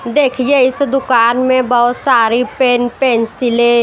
देखिए इस दुकान में बहुत सारी पेन पेंसिलें --